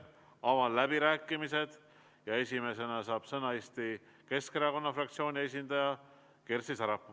Avan läbirääkimised ja esimesena saab sõna Eesti Keskerakonna fraktsiooni esindaja Kersti Sarapuu.